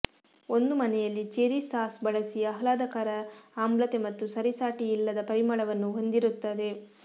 ಒಂದು ಮನೆಯಲ್ಲಿ cherry sauce ಬಳಸಿ ಆಹ್ಲಾದಕರ ಆಮ್ಲತೆ ಮತ್ತು ಸರಿಸಾಟಿಯಿಲ್ಲದ ಪರಿಮಳವನ್ನು ಹೊಂದಿರುತ್ತದೆ